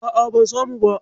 A'a, ban samu ba.